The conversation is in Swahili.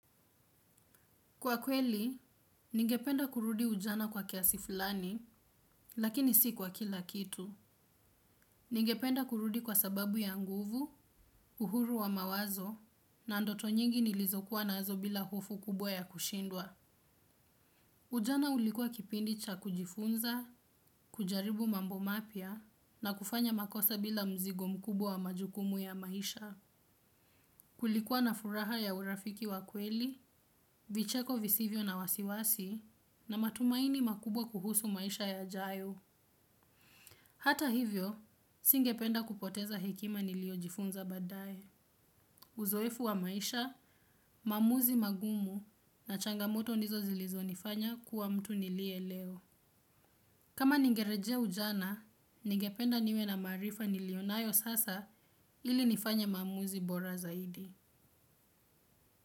Kwa kweli, ningependa kurudi ujana kwa kiasi fulani, lakini si kwa kila kitu. Ningependa kurudi kwa sababu ya nguvu, uhuru wa mawazo, na ndoto nyingi nilizokuwa nazo bila hofu kubwa ya kushindwa. Ujana ulikuwa kipindi cha kujifunza, kujaribu mambo mapya, na kufanya makosa bila mzigo mkubwa wa majukumu ya maisha. Kulikuwa na furaha ya urafiki wakweli, vicheko visivyo na wasiwasi na matumaini makubwa kuhusu maisha ya jayo. Hata hivyo, singependa kupoteza hekima niliyojifunza baadaye. Uzoefu wa maisha, maamuzi magumu na changamoto ndizo zilizo nifanya kuwa mtu niliye leo. Kama ningerejea ujana, ningependa niwe na maarifa nilionayo sasa ili nifanye maamuzi bora zaidi.